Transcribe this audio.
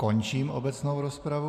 Končím obecnou rozpravu.